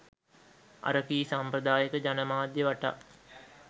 අරකී සම්ප්‍රදායීක ජනමාධ්‍ය වටා